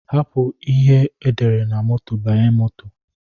Hapu ihe edere na moto banye moto.